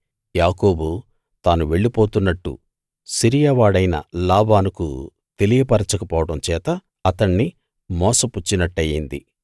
యాకోబు తాను వెళ్ళిపోతున్నట్టు సిరియావాడైన లాబానుకు తెలియ పరచకపోవడం చేత అతణ్ణి మోసపుచ్చినట్టు అయ్యింది